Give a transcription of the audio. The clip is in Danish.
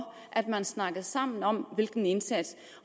at man snakkede sammen om indsatsen